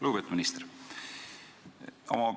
Lugupeetud minister!